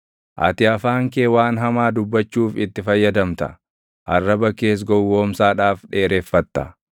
Ati afaan kee waan hamaa dubbachuuf itti fayyadamta; arraba kees gowwoomsaadhaaf dheereffatta.